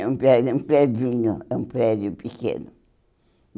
é um prédio é um prédinho, é um prédio pequeno.